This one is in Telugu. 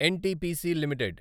NTPC limited